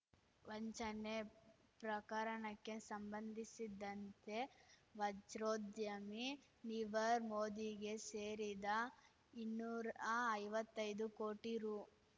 ವಂಚನೆ ಪ್ರಕರಣಕ್ಕೆ ಸಂಬಂಧಿಸಿದಂತೆ ವಜ್ರೋದ್ಯಮಿ ನೀವರ್ ಮೋದಿಗೆ ಸೇರಿದ ಇನ್ನೂರಾ ಐವತ್ತೈದು ಕೋಟಿ ರು